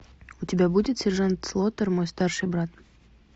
у тебя будет сержант слотер мой старший брат